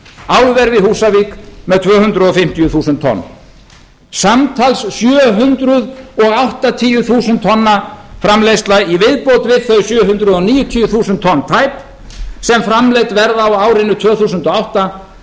álver við húsavík með tvö hundruð fimmtíu þúsund tonn samtals sjö hundruð áttatíu þúsund tonna framleiðsla í viðbót við þau sjö hundruð níutíu þúsund tonn tæp sem framleidd verða á árinu tvö þúsund og átta